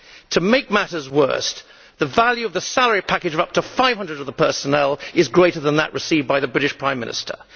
To make matters worse, the value of the salary package of up to 500 of the personnel is greater than that received by the British Prime Minister.